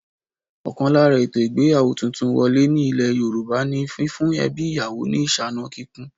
Ọkan lára ètò ìgbéyàwó tuntun wọlé ní ilé Yorùbá ní fífún ẹbí ìyàwó ni ìsáná kíkún